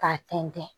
K'a tɛntɛn